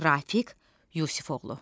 Rafiq Yusifoğlu.